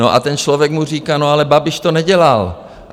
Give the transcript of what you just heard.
No a ten člověk mu říká: No ale Babiš to nedělal.